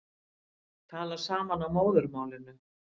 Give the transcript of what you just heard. Tala saman á móðurmálinu